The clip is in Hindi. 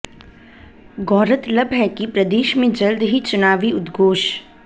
गौरतलब है कि प्रदेश में जल्द ही चुनावी उद्घोष